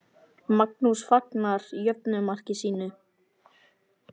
Magnús fagnar jöfnunarmarki sínu.